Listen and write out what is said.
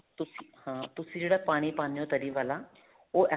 ਤੁਸੀਂ ਹਾਂ ਤੁਸੀਂ ਜਿਹੜਾ ਪਾਣੀ ਪਾਨੇ ਹੋ ਤਰੀ ਵਾਲਾ ਉਹ